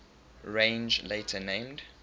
range later named